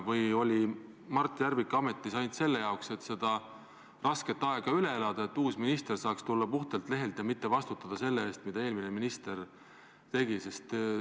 Või oli Mart Järvik ametis ainult selle jaoks, et see raske aeg üle elada, et uus minister saaks tulla puhtalt lehelt ja mitte vastutada selle eest, mida eelmine minister tegi?